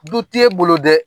Du tɛ bolo dɛ